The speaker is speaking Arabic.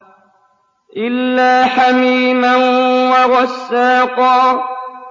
إِلَّا حَمِيمًا وَغَسَّاقًا